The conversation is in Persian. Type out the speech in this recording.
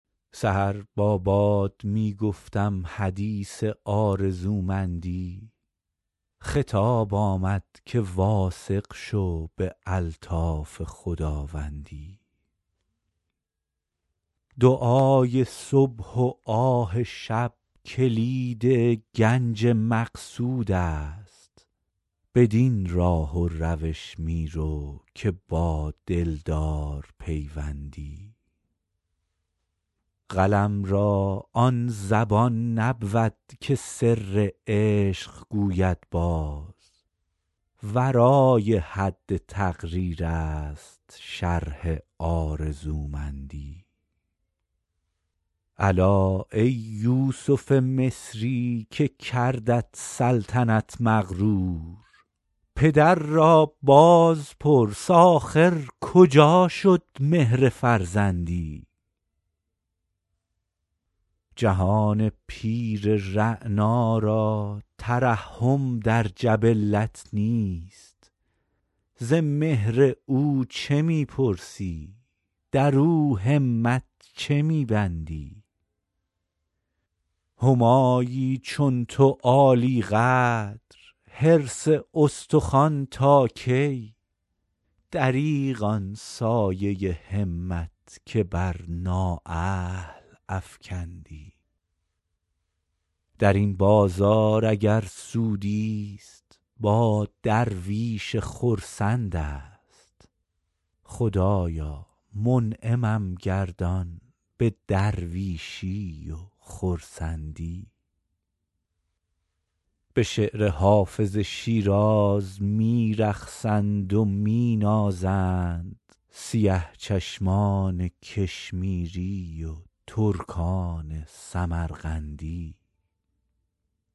سحر با باد می گفتم حدیث آرزومندی خطاب آمد که واثق شو به الطاف خداوندی دعای صبح و آه شب کلید گنج مقصود است بدین راه و روش می رو که با دلدار پیوندی قلم را آن زبان نبود که سر عشق گوید باز ورای حد تقریر است شرح آرزومندی الا ای یوسف مصری که کردت سلطنت مغرور پدر را باز پرس آخر کجا شد مهر فرزندی جهان پیر رعنا را ترحم در جبلت نیست ز مهر او چه می پرسی در او همت چه می بندی همایی چون تو عالی قدر حرص استخوان تا کی دریغ آن سایه همت که بر نااهل افکندی در این بازار اگر سودی ست با درویش خرسند است خدایا منعمم گردان به درویشی و خرسندی به شعر حافظ شیراز می رقصند و می نازند سیه چشمان کشمیری و ترکان سمرقندی